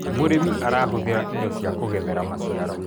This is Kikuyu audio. mũrĩmi arahuthira indo cia kugethera maciaro